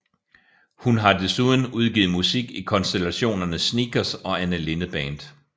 Hun har desuden udgivet musik i konstellationerne Sneakers og Anne Linnet Band